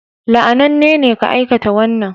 La'ananne ne ka aikata wannan